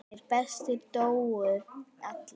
Hinir bestu dóu allir.